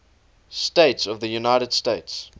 states of the united states